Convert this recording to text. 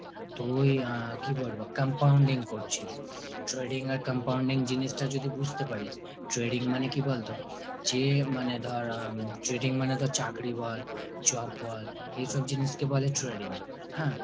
তুই আ কি বলবো compounding করছিস। trading আর compounding জিনিসটা যদি বুঝতে পারিস। trading মানে কি বলতো? যে মানে ধর উম trading মানে তোর চাকরি বল job বল এসব জিনিসকে বলে trading। হ্যাঁ।